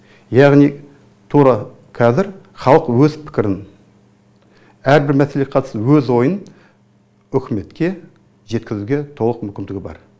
яғни тура қазір халық өз пікірін әрбір мәселеге қатысты өз ойын үкіметке жеткізуге толық мүмкіндігі бар